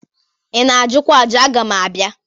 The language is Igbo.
I na-ajụkwa ajụ? Aga m abịa.